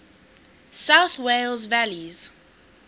south wales valleys